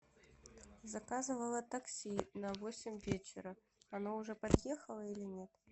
заказывала такси на восемь вечера оно уже подъехало или нет